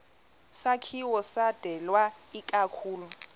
sakhiwo sidalwe ikakhulu